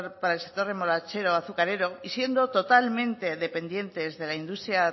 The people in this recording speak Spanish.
para el sector remolachero azucarero y siendo totalmente dependientes de la industria